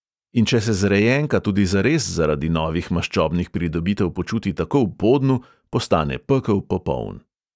In če se zrejenka tudi zares zaradi novih maščobnih pridobitev počuti tako v podnu, postane pekel popoln.